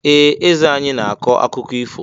Ee! Eze anyị na-akọ akụkọ ifo.